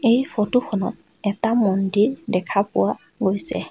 এই ফটো খনত এটা মন্দিৰ দেখা পোৱা গৈছে।